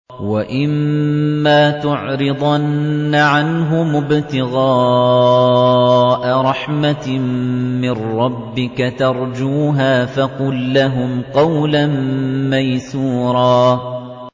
وَإِمَّا تُعْرِضَنَّ عَنْهُمُ ابْتِغَاءَ رَحْمَةٍ مِّن رَّبِّكَ تَرْجُوهَا فَقُل لَّهُمْ قَوْلًا مَّيْسُورًا